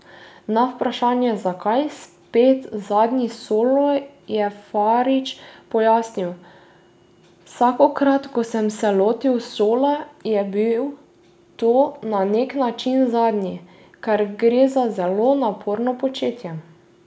Na vprašanje, zakaj 'spet zadnji solo', je Farič pojasnil: 'Vsakokrat, ko sem se lotil sola, je bil to na nek način zadnji, ker gre za zelo naporno početje.